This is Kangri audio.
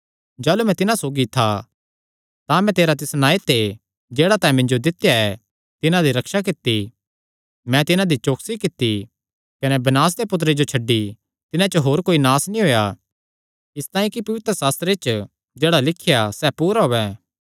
जाह़लू मैं तिन्हां सौगी था तां मैं तेरे तिस नांऐ ते जेह्ड़ा तैं मिन्जो दित्या ऐ तिन्हां दी रक्षा कित्ती मैं तिन्हां दी चौकसी कित्ती कने विनाश दे पुत्तरे जो छड्डी तिन्हां च होर कोई नास नीं होएया इसतांई कि पवित्रशास्त्रे च जेह्ड़ा लिख्या सैह़ पूरा होयैं